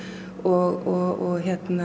og